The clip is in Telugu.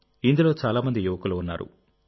ఇందులో చాలా మంది యువకులు ఉన్నారు